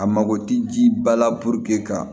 A mago tɛ ji ba la ka